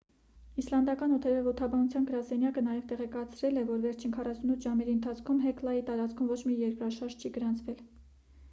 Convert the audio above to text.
իսլանդական օդերևութաբանության գրասենյակը նաև տեղեկացրել է որ վերջին 48 ժամերի ընթացքում հեքլայի տարածքում ոչ մի երկրաշարժ չի գրանցվել